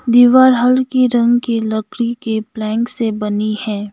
दीवार हल्की रंग की लकड़ी के प्लैंक से बनी है।